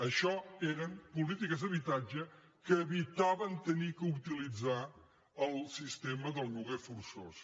això eren polítiques d’habitatge que evitaven haver d’utilitzar el sistema del lloguer forçós